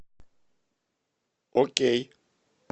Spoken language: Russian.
окей